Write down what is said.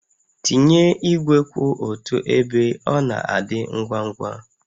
Tinye igwe kwụ otu ebe, ọ na-adị ngwa ngwa